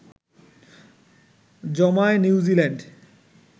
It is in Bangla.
জমায় নিউজিল্যান্ড